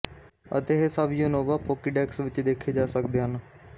ਅਤੇ ਇਹ ਸਭ ਯੂਨੋਵਾ ਪੋਕੀਡੈਕਸ ਵਿੱਚ ਦੇਖੇ ਜਾ ਸਕਦੇ ਹਨ